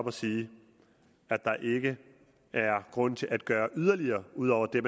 og sige at der ikke er grund til at gøre yderligere ud over det